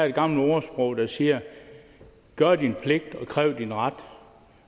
det gamle ordsprog der siger gør din pligt og kræv din ret